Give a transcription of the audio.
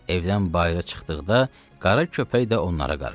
Evdən bayıra çıxdıqda qara köpək də onlara qarışdı.